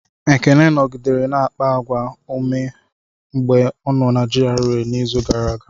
Ekene nọgidere na-akpa àgwà ọma mgbe ọ nọ na GRA n'izu gara aga.